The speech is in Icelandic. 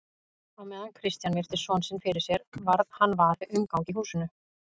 Á meðan Christian virti son sinn fyrir sér varð hann var við umgang í húsinu.